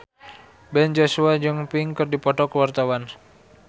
Ben Joshua jeung Pink keur dipoto ku wartawan